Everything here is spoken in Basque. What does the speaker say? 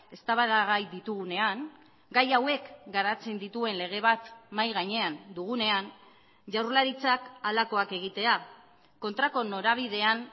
eztabaidagai ditugunean gai hauek garatzen dituen lege bat mahai gainean dugunean jaurlaritzak halakoak egitea kontrako norabidean